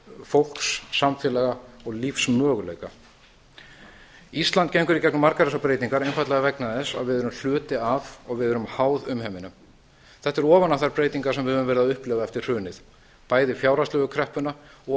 fólks samfélög okkar og lífsmöguleika ísland gengur í gegnum margar þessar breytingar einfaldlega vegna þess að við erum hluti af og við erum háð umheiminum þetta er ofan á þær breytingar sem við höfum verið að upplifa eftir hrunið bæði fjárhagslegu kreppuna og